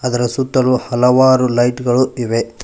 ಇದರ ಸುತ್ತಲೂ ಹಲವಾರು ಲೈಟ್ ಗಳು ಇವೆ.